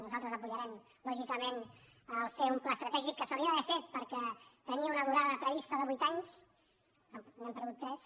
nosaltres donarem suport lògica·ment a fer un pla estratègic que s’hauria d’haver fet perquè tenia una durada prevista de vuit anys i n’hem perdut tres